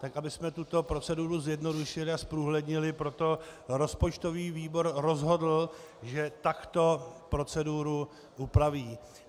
Tak abychom tuto proceduru zjednodušili a zprůhlednili, proto rozpočtový výbor rozhodl, že takto proceduru upraví.